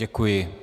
Děkuji.